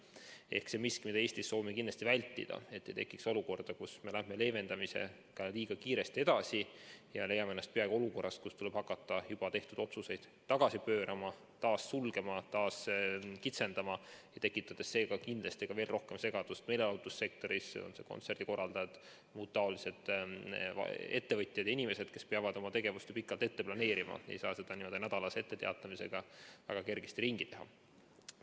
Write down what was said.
See on miski, mida me Eestis soovime kindlasti vältida, et ei tekiks olukorda, kus me lähme leevendamisega liiga kiiresti edasi ja leiame ennast peagi olukorrast, kus tuleb hakata juba tehtud otsuseid tagasi pöörama, taas sulgema, taas kitsendama, tekitades seega kindlasti veel rohkem segadust meelelahutussektoris, on need kontserdikorraldajad või muud ettevõtjad ja inimesed, kes peavad oma tegevust ju pikalt ette planeerima ega saa seda n‑ö nädalase etteteatamisega väga kergesti ringi teha.